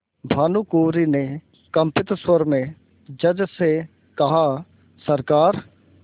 भानुकुँवरि ने कंपित स्वर में जज से कहासरकार